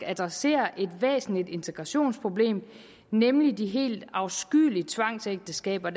adresserer et væsentligt integrationsproblem nemlig de helt afskyelige tvangsægteskaber